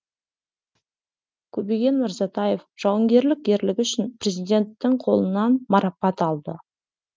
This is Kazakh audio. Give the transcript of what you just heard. көбеген мырзатаев жауынгерлік ерлігі үшін президенттің қолынан марапат алды